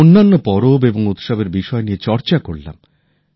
আমরা অন্যান্য পরব এবং উৎসবের বিষয় নিয়ে চর্চা করলাম